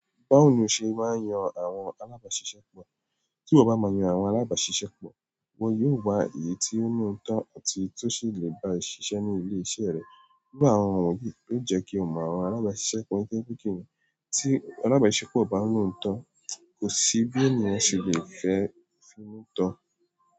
Báwo ni oṣe máa ń yan àwọn alábàáṣiṣẹ́pọ̀ tí wọ bá ma yan àwọn alábàáṣiṣẹ́ pọ̀, wọn yóò wá ìyí tí ó ní ootọ́ àti èyí tó sì lè bá ẹ ṣiṣẹ́ ní ilé iṣẹ́ rẹ. Irú àwọn wọ̀nyí yìí yóò jẹ́ kí o mọ àwọn alábàáṣiṣẹ́ pọ̀ nítorí pé kíni tí alábàáṣiṣẹ́ pọ̀ bá ní òótọ́, kò sí bí ènìyàn ṣe lè fẹ́ fi inú tọ.